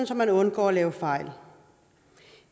så man undgår at lave fejl